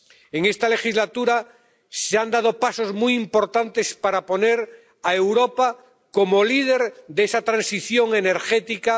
En esta legislatura se han dado pasos muy importantes para poner a Europa como líder de esa transición energética.